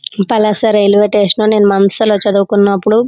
ఇది Palasa railway station . నేను మానసలో చదువుకునపుడు --